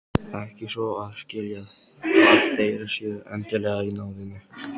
Ekki svo að skilja að þeir séu endilega í náðinni.